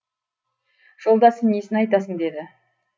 жолдасы несін айтасың деді